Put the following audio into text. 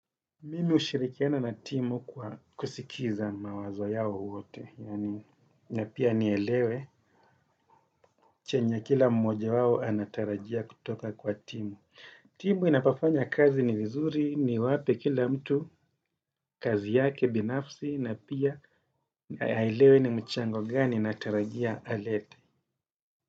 Mimi hushirikiana na timu kwa kusikiza mawazo yao wote na pia nielewe, chenye kila mmoja wawo anatarajia kutoka kwa timu. Timu inapofanya kazi ni vizuri, ni wape kila mtu, kazi yake binafsi, na pia aelewe ni mchango gani natarajia alete.